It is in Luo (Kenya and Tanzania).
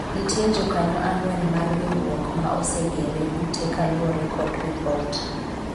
nitie jokanyo ang'wen mar riwruok ma osegero ute kaluwore kod ripot